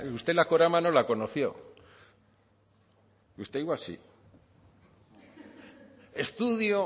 usted la corama no la conoció usted igual sí estudio